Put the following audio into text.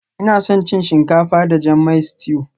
Ina son cin shinkafa da jan mai stew